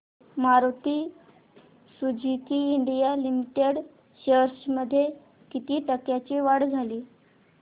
Maruti Suzuki India limited shares मध्ये किती टक्क्यांची वाढ झाली